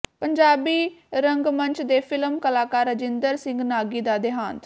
ਪੰਜਾਬੀ ਰੰਗਮੰਚ ਤੇ ਫਿਲਮ ਕਲਾਕਾਰ ਰਾਜਿੰਦਰ ਸਿੰਘ ਨਾਗੀ ਦਾ ਦੇਹਾਂਤ